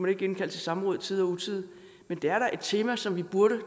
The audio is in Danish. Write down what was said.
ikke indkalde til samråd i tide og utide men det er da et tema som vi burde